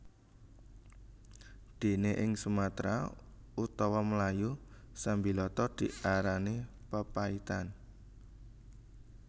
Dene ing Sumatra utawa Melayu sambiloto diarani papaitan